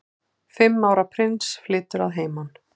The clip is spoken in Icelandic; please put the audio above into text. Fimm ára prins flytur að heiman